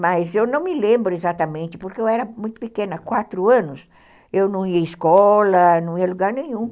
Mas eu não me lembro exatamente, porque eu era muito pequena, quatro anos, eu não ia à escola, não ia a lugar nenhum.